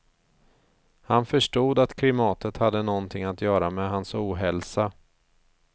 Han förstod att klimatet hade någonting att göra med hans ohälsa.